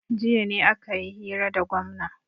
jiya ne aka yi hira da gwamna